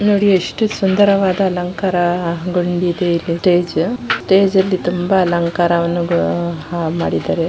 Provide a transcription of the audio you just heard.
ನೋಡಿ ಎಷ್ಟು ಸುಂದರವಾದ ಅಲಂಕಾರ ಹಾ ಗುಂಡಿ ಇದೆ ಇಲ್ಲಿ ಸ್ಟೇಜ್ ಸ್ಟೇಜ್ ಅಲ್ಲಿ ತುಂಬ ಅಲಂಕಾರವನ್ನು ಹಮ್ ಮಾಡಿದ್ದಾರೆ.